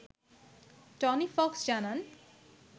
Tony Fox জানান